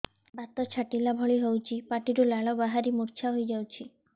ବାତ ଛାଟିଲା ଭଳି ହଉଚି ପାଟିରୁ ଲାଳ ବାହାରି ମୁର୍ଚ୍ଛା ହେଇଯାଉଛି